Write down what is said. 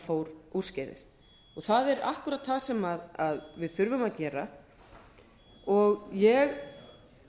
fór úrskeiðis það er akkúrat það sem við þurfum að gera ég